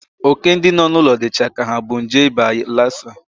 Óké ndị nọ n'ụlọ m dịcha ka ha bu nje ịba lasa.